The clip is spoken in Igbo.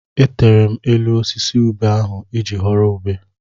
Etere m elu osisi ube ahụ iji ghọrọ ube.